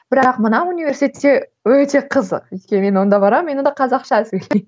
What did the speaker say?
бірақ мына университетте өте қызық өйткені мен онда барамын мен онда қазақша сөйлеймін